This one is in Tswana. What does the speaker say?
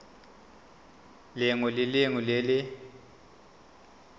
lengwe le lengwe le le